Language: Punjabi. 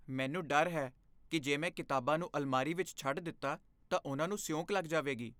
ਮੈਨੂੰ ਡਰ ਹੈ ਕਿ ਜੇ ਮੈਂ ਕਿਤਾਬਾਂ ਨੂੰ ਅਲਮਾਰੀ ਵਿੱਚ ਛੱਡ ਦਿੱਤਾ, ਤਾਂ ਉਹਨਾਂ ਨੂੰ ਸੀਊਂਕ ਲੱਗ ਜਾਵੇਗੀ ।